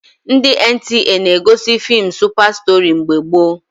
Ndị NTA na-egosi feem Supa Stori mgbe gboo